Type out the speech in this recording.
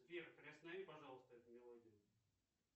сбер приостанови пожалуйста эту мелодию